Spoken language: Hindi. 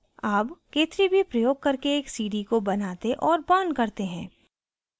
अब k3b प्रयोग करके एक cd को बनाते और burn करते हैं